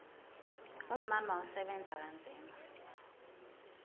umama usebenza kanzima